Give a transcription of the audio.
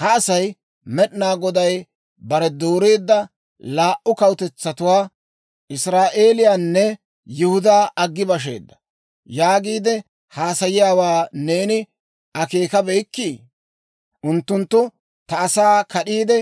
«Ha asay, ‹Med'inaa Goday bare dooreedda laa"u kawutetsatuwaa, Israa'eeliyaanne Yihudaa aggi basheedda› yaagiide haasayiyaawaa neeni akeekabeyikkii? Unttunttu ta asaa kad'iide,